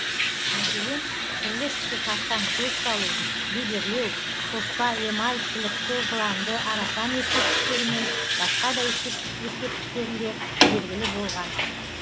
мәселен түрлі түсті тастан көз салу бедерлеу тоспа эмаль шілікті жыланды арасан ескерткіштері мен басқа да ескірткіштерінде белгілі болган